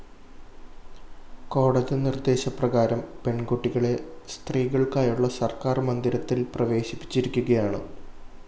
കോടതി നിര്‍ദ്ദേശപ്രകാരം പെണ്‍കുട്ടികളെ സ്തീകള്‍ക്കായുള്ള സര്‍ക്കാര്‍ മന്ദിരത്തില്‍ പ്രവേശിപ്പിച്ചിരിക്കുകയാണ്